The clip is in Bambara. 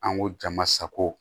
An ko jama sago